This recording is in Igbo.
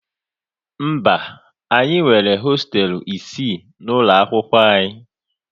Mba, anyị nwere hosteelu isii n'ụlọ akwụkwọ anyị